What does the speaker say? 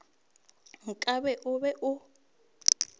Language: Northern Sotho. nka be o be o